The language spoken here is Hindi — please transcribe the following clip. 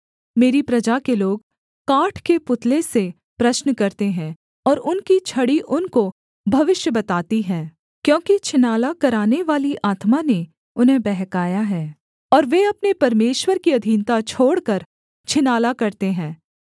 मेरी प्रजा के लोग काठ के पुतले से प्रश्न करते हैं और उनकी छड़ी उनको भविष्य बताती है क्योंकि छिनाला करानेवाली आत्मा ने उन्हें बहकाया है और वे अपने परमेश्वर की अधीनता छोड़कर छिनाला करते हैं